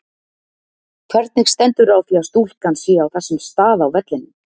Hvernig stendur á því að stúkan sé á þessum stað á vellinum?